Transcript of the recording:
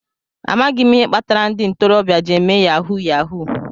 Amaghị m ihe kpatara ndị ntorobịa jị eme Yahuu yahuu